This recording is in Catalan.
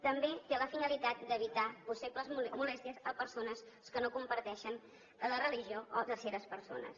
també té la finalitat d’evitar possibles molèsties a persones que no comparteixen la religió o terceres persones